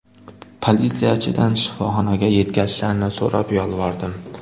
Politsiyachidan shifoxonaga yetkazishlarini so‘rab yolvordim.